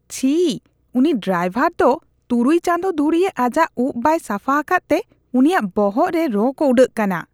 ᱪᱷᱤ, ᱩᱱᱤ ᱰᱨᱟᱭᱵᱷᱟᱨ ᱫᱚ ᱛᱩᱨᱩᱭ ᱪᱟᱸᱫᱚ ᱫᱷᱩᱨᱤᱭᱟᱹ ᱟᱡᱟᱜ ᱩᱯ ᱵᱟᱭ ᱥᱟᱯᱷᱟ ᱟᱠᱟᱫ ᱛᱮ ᱩᱱᱤᱭᱟᱜ ᱵᱚᱦᱚᱜ ᱨᱮ ᱨᱚᱸ ᱠᱚ ᱩᱰᱟᱹᱜ ᱠᱟᱱᱟ ᱾